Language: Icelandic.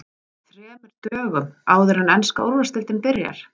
ÞREMUR DÖGUM áður en enska Úrvalsdeildin byrjar?